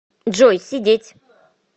джой сидеть